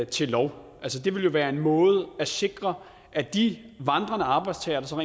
til lov altså det ville jo være en måde at sikre at de vandrende arbejdstagere som